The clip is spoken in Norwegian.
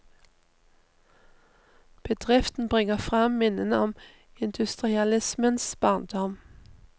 Bedriften bringer frem minnene om industrialismens barndom.